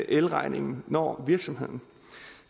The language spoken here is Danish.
elregningen når virksomheden